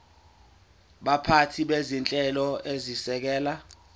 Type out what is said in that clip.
baphathi bezinhlelo ezisekela